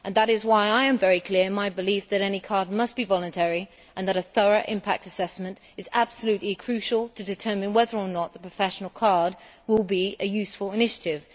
That is why I am very clear in my belief that any card must be voluntary, and that a thorough impact assessment is absolutely crucial to determine whether or not the professional card will be a useful initiative.